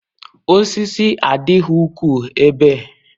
Osisi adịghị ukwuu ebe